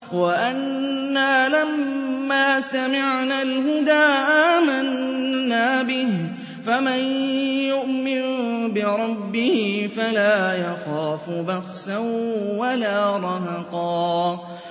وَأَنَّا لَمَّا سَمِعْنَا الْهُدَىٰ آمَنَّا بِهِ ۖ فَمَن يُؤْمِن بِرَبِّهِ فَلَا يَخَافُ بَخْسًا وَلَا رَهَقًا